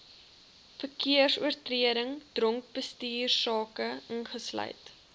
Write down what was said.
verkeersoortredings dronkbestuursake ingesluit